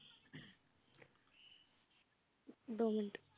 ਦੋ minute